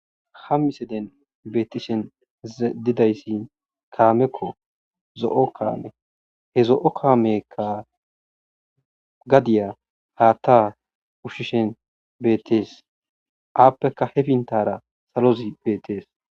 hammi seden beetishen didayssi kaamekko zo7o kaame he zo7o kaamekka gadiya haatta ushishen beetees aappeka he fintara salozi beetees